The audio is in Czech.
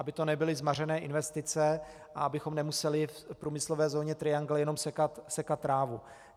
Aby to nebyly zmařené investice a abychom nemuseli v průmyslové zóně Triangle jenom sekat trávu.